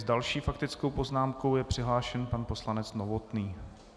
S další faktickou poznámkou je přihlášen pan poslanec Novotný.